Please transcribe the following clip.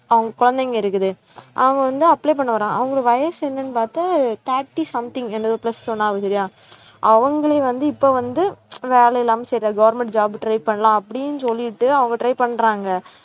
அவங்க குழந்தைங்க இருக்குது, அவன் வந்து apply பண்ண வரான். அவங்களுக்கு வயசு என்னன்னு பார்த்து thirty something plus சொன்னாங்க சரியா அவங்களையும் வந்து இப்ப வந்து வேலை இல்லாம செய்றாங்க government job try பண்ணலாம் அப்படின்னு சொல்லிட்டு அவங்க try பண்றாங்க